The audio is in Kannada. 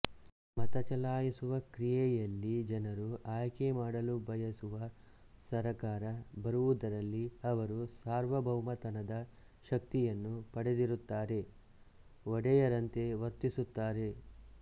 ಮತ ಚಲಾಯಿಸುವ ಕ್ರಿಯೆಯಲ್ಲಿಜನರು ಆಯ್ಕೆ ಮಾಡಲು ಬಯಸುವ ಸರಕಾರ ಬರುವುದರಲ್ಲಿ ಅವರು ಸಾರ್ವಭೌಮತನದ ಶಕ್ತಿಯನ್ನು ಪಡೆದಿರುತ್ತಾರೆಒಡೆಯರಂತೆ ವರ್ತಿಸುತ್ತಾರೆ